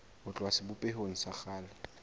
ho tloha sebopehong sa kgale